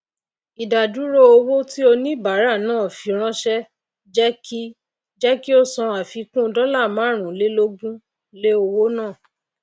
ìdádúró owó tí oníbàárà náà fi ránsé jé kí jé kí ó san àfikún dóla márùn lé lógún lé owó náà